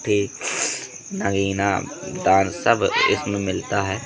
एक नगीना डांस सब इसमें मिलता है।